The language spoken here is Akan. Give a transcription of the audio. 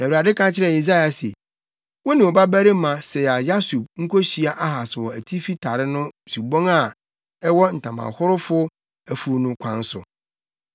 Na Awurade ka kyerɛɛ Yesaia se, “Wo ne wo babarima Sear-Yasub nkohyia Ahas wɔ Atifi Tare no subon a ɛwɔ Ntamahorofo Afuw no kwan so.